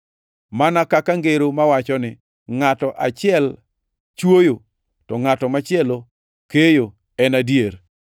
Mana kaka ngero mawacho ni, ‘Ngʼato achiel chwoyo, to ngʼato machielo keyo’ en adier.